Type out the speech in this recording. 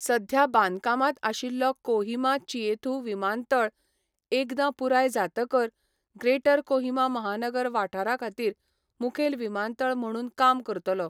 सध्या बांदकामांत आशिल्लो कोहिमा चिएथू विमानतळ एकदां पुराय जातकच ग्रेटर कोहिमा महानगर वाठारा खातीर मुखेल विमानतळ म्हणून काम करतलो.